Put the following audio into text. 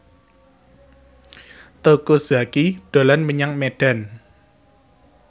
Teuku Zacky dolan menyang Medan